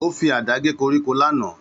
Ó fi àdá gé koríko lánàá.